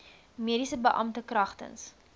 mediese beampte kragtens